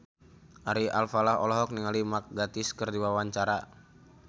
Ari Alfalah olohok ningali Mark Gatiss keur diwawancara